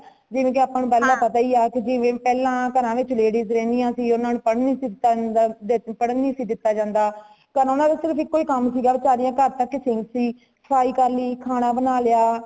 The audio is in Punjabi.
ਜਿਵੇ ਕੀ ਆਪਾ ਨੂੰ ਪਹਿਲਾ ਪਤਾ ਹੀ ਹੇ ਕੀ ਜਿਵੇ ਪਹਿਲਾ ਘਰਾਂ ਵਿਚ ladies ਰਹਿੰਦਿਆਂ ਸੀ ਊਨਾ ਨੂੰ ਪੜਨ ਨਹੀਂ ਸੀ ਦਿੱਤਾ ਜਾਂਦਾ ,ਊਨਾ ਨੂੰ ਪੜਨ ਨਹੀਂ ਸੀ ਦਿੱਤਾ ਜਾਂਦਾ ਤਾ ਓਨਾ ਨੂੰ ਸਿਰਫ ਏਕੋ ਹੀ ਕਾਮ ਸੀ ਗਾ ਸਾਰੀਆਂ ਘਰ ਤਕ ਹੀ ਸੀਮਿਤ ਸੀ , ਸਫਾਈ ਕਰ ਲਈ ਖਾਣਾ ਬਣਾ ਲਿਆ